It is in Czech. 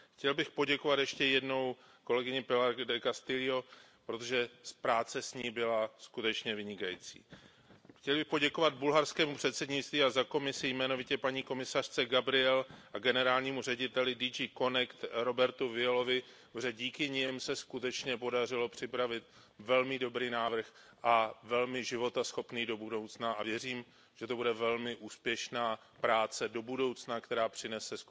Chtěl bych poděkovat ještě jednou kolegyni Pilar Del Castillové, protože práce s ní byla skutečně vynikající. Chtěl bych poděkovat bulharskému předsednictví a za Komisi jmenovitě paní komisařce Gabrielové a generálnímu řediteli generálního ředitelství CONNECT Robertu Violovi, protože díky nim se skutečně podařilo připravit velmi dobrý návrh a velmi životaschopný do budoucna, a věřím, že to bude velmi úspěšná práce do budoucna, která přinese